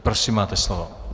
Prosím máte slovo.